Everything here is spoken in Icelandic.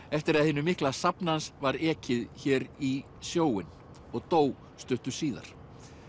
eftir að hinu mikla safni hans var ekið hér í sjóinn og dó stuttu síðar